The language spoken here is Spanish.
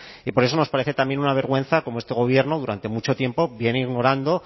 y por eso nos parece también una vergüenza cómo este gobierno durante mucho tiempo viene ignorando